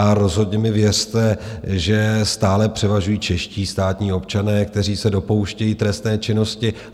A rozhodně mi věřte, že stále převažují čeští státní občané, kteří se dopouštějí trestné činnosti.